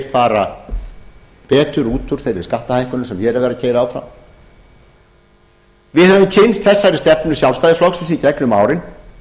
fara betur út úr þeim skattahækkunum sem hér er verið að keyra áfram við höfum kynnst þessari stefnu sjálfstæðisflokksins í gegnum árin